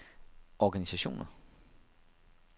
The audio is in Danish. organisationer